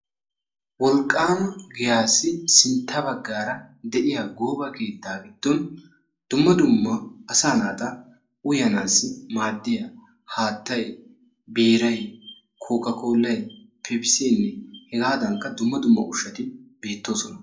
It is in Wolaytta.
wolqqaama giyaassi sintta baggaara de'iya gooba keettaa giddon dumma dumma asaa naati uyanaassi maaddiya haattay, biiray, kookka koollay, pepisseenne hegaadaanikka dumma dumma ushshati beettoosona.